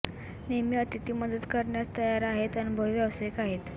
नेहमी अतिथी मदत करण्यास तयार आहेत अनुभवी व्यावसायिक आहेत